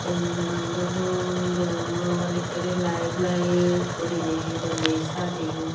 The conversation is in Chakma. enuju gan daw dol degogor ekkrey laet laet guriney doley sajeyon.